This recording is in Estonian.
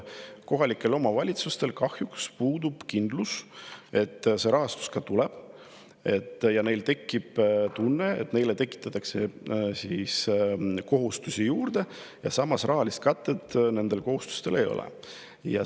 Kohalikel omavalitsustel kahjuks puudub kindlus, et see rahastus ka tuleb, neil on tunne, et neile tekitatakse kohustusi juurde, aga samas rahalist katet nendele kohustustele ei ole.